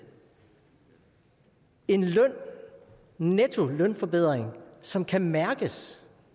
en nettolønforbedring som kan mærkes